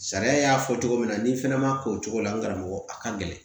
Sariya y'a fɔ cogo min na n'i fɛnɛ ma ko o cogo la n karamɔgɔ a ka gɛlɛn